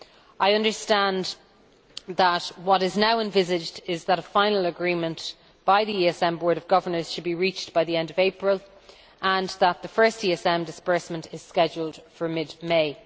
I understand that what is now envisaged is that a final agreement by the ESM board of governors should be reached by the end of April, and that the first ESM disbursement is scheduled for mid May.